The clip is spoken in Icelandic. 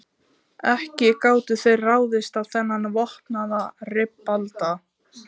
Ekki gátu þeir ráðist á þennan vopnaða ribbalda.